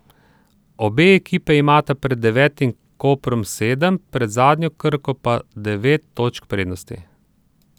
Obe ekipi imata pred devetim Koprom sedem, pred zadnjo Krko pa devet točk prednosti.